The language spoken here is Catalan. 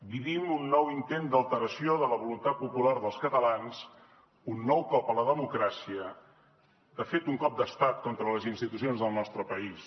vivim un nou intent d’alteració de la voluntat popular dels catalans un nou cop a la democràcia de fet un cop d’estat contra les institucions del nostre país